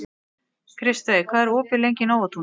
Kristveig, hvað er opið lengi í Nóatúni?